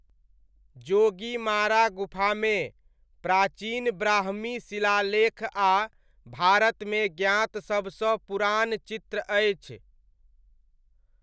जोगीमारा गुफामे, प्राचीन ब्राह्मी शिलालेख आ भारतमे ज्ञात सभसँ पुरान चित्र अछि।